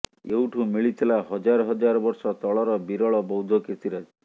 ଏଇଠୁ ମିଳିଥିଲା ହଜାର ହଜାର ବର୍ଷ ତଳର ବିରଳ ବୌଦ୍ଧ କିର୍ତିରାଜି